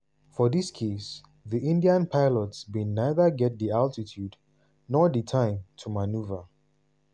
for dis case di indian pilots bin neither get di altitude nor di time to manoeuvre.